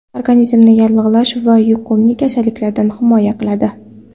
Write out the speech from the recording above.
Organizmni yallig‘lanish va yuqumli kasalliklardan himoya qiladi.